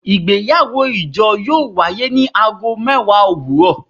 Igbeyawo ijo yoo waye ni aago mẹwa owurọ